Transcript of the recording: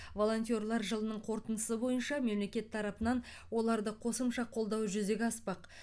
волонтерлар жылының қорытындысы бойынша мемлекет тарапынан оларды қосымша қолдау жүзеге аспақ